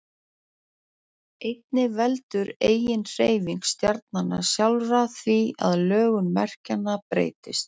Einnig veldur eiginhreyfing stjarnanna sjálfra því að lögun merkjanna breytist.